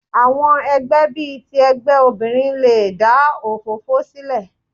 Àwọn ẹgbẹ́ bí i ti ẹgbẹ́ obìnrin le dà òfófó sílẹ̀.